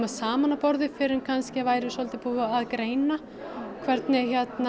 saman að borði fyrr en væri búið að greina hvernig